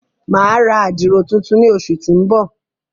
Mà a ra àdiro tùntùn ni óṣu ti n bọ.